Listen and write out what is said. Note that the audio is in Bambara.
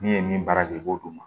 N'i ye min baara kɛ i b'o d'u ma